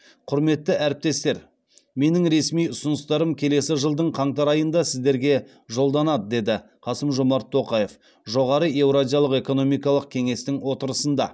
құрметті әріптестер менің ресми ұсыныстарым келесі жылдың қаңтар айында сіздерге жолданады деді қасым жомарт тоқаев жоғары еуразиялық экономикалық кеңестің отырысында